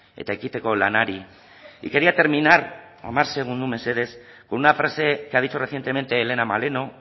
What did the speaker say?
eta ekiteko lanari y quería terminar hamar segundu mesedez con una frase que ha dicho recientemente elena maleno